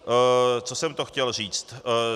Co jsem to chtěl říct?